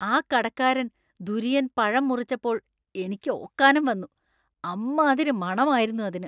ആ കടക്കാരൻ ദുരിയൻ പഴം മുറിച്ചപ്പോൾ എനിക്ക് ഓക്കാനം വന്നു; അമ്മാതിരി മണമായിരുന്നു അതിന്.